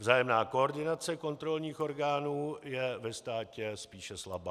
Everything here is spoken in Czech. Vzájemná koordinace kontrolních orgánů je ve státě spíše slabá.